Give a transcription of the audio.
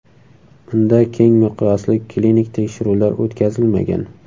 Unda keng miqyosli klinik tekshiruvlar o‘tkazilmagan.